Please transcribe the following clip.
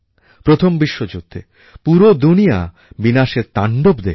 প্রথম বিশ্বযুদ্ধে পুরো দুনিয়া বিনাশের তাণ্ডব দেখল